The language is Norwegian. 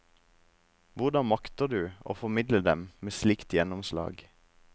Hvordan makter du å formidle dem med slikt gjennomslag?